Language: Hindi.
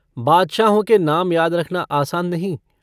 बादशाहों के नाम याद रखना आसान नहीं।